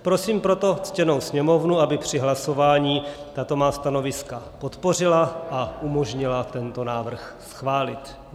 Prosím proto ctěnou Sněmovnu, aby při hlasování tato má stanoviska podpořila a umožnila tento návrh schválit.